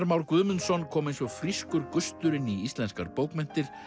Már Guðmundsson kom eins og frískur gustur inn í íslenskar bókmenntir